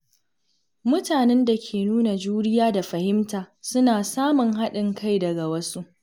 Mutanen da ke nuna juriya da fahimta suna samun haɗin kai daga wasu.